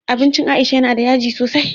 Abincin aisha yana da yaji sosai